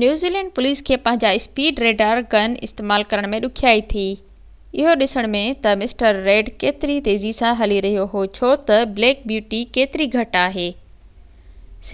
New Zealand police کي پنهنجا speed radar gun استعمال ڪرڻ ۾ ڏکيائي ٿي اهو ڏسڻ ۾ تہ مسٽر ريڊ ڪيتري تيزي سان هلي رهيو هو ڇو تہ بليڪ بيوٽي ڪيتري گهٽ آهي